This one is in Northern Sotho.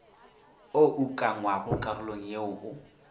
o ukangwago karolong yeo o